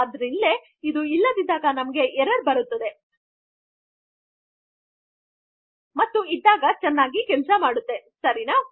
ಅದು ಮೇಲಿರುವ ಹೆಡ್ಡರ್ ಗಿಂತ ಮುಂಜೆ ಯಾವುದೆ ಎಚ್ಟಿಎಮ್ಎಲ್ ನ ಹುಟ್ಟುವಳಿಯು ಇರಬಾರದೆಂಬ ಇನಿಷಿಯಲ್ ರೂಲ್ ಇದ್ದರು ಸಹ